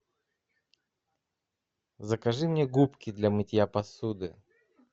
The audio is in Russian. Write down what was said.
закажи мне губки для мытья посуды